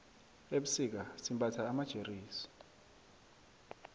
ebusika simbatha amajeresi